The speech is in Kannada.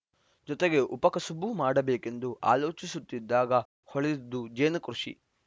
ಜೊತೆಗೆ ಉಪಕಸುಬು ಮಾಡಬೇಕೆಂದು ಆಲೋಚಿಸುತ್ತಿದ್ದಾಗ ಹೊಳೆದಿದ್ದು ಜೇನುಕೃಷಿ